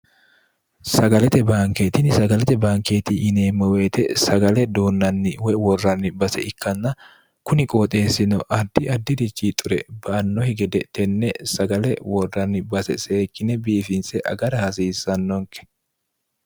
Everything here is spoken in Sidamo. sagalete baankeetinni sagalete baankeeti yineemmo woyite sagale duunnanni woy worranni base ikkanna kuni qooxeessino addi addirichi xure baannokki gede tenne sagale worranni base seekkine biifinse agara hasiissannonke